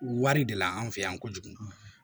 Wari de la an fɛ yan kojugu